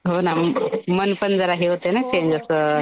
हो ना मन पण जरा हे होतं ना चेंज होतं .